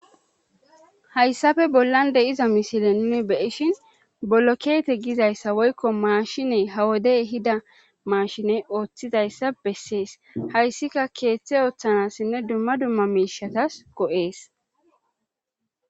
Hayssafe bollan de iza mishile nuni beishin bollo keete gizayssa woykko maashiney hawodey hida maashiney ooththidayssa bessees hayssika keeththe ooththanassinne dumma dumma miishatas go7ees.